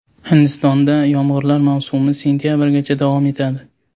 Hindistonda yomg‘irlar mavsumi sentabrgacha davom etadi.